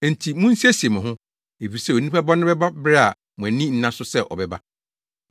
Enti munsiesie mo ho, efisɛ Onipa Ba no bɛba bere a mo ani nna so sɛ ɔbɛba.”